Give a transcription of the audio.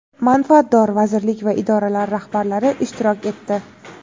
manfaatdor vazirlik va idoralar rahbarlari ishtirok etdi.